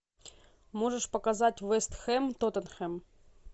можешь показать вест хэм тоттенхэм